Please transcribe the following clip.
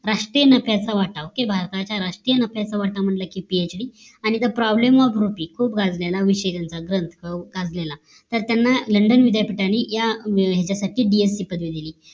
राष्ट्रीय नफ्याचा वाटावं कि भारताच्या राष्ट्रीय नफ्याचा वाटावं म्हंटल कि PhD THE problem OF RUPEE खूप गाजलेला विषय त्यांचा ग्रंथ गाजलेला तर त्यांना लंडन विद्यापीठांनी ह्या ह्याच्यासाठी DS ची पदवी दिली